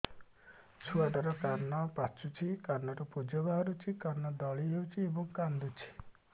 ଛୁଆ ଟା ର କାନ ପାଚୁଛି କାନରୁ ପୂଜ ବାହାରୁଛି କାନ ଦଳି ହେଉଛି ଏବଂ କାନ୍ଦୁଚି